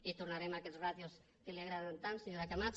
i tornarem a aquestes ràtios que li agraden tant senyora camats